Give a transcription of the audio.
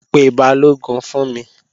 Pe Balógun fún mi!